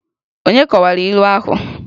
Onye kọwara ilu ahụ?